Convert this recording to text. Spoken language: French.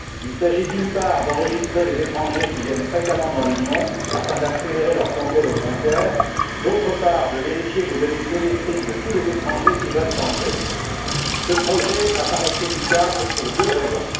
Il s'agit, d'une part, d'enregistrer les étrangers qui viennent fréquemment dans l'Union, afin d'en accélérer le contrôle aux frontières, et, d'autre part, de vérifier les données biométriques de tous les étrangers qui veulent entrer sur le territoire de l'Union. Ce projet m'apparaît critiquable pour deux raisons.